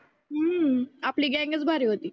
हम्म आपली गॅंग चं लई भारी होती.